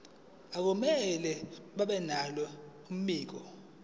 akumele babenalo mbiko